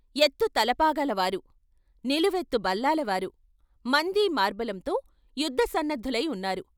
ఎత్తు తలపాగాల వారు, నిలువెత్తు బల్లాలవారు మందీ మార్బలంతో యుద్ధ సన్నద్ధులై ఉన్నారు.